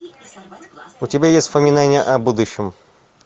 у тебя есть воспоминания о будущем